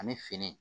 Ani fini